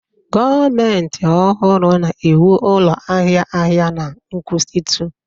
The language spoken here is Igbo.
Gọọmentị ọhụrụ na-ewu ụlọ ahịa ahịa na nkwụsịtụ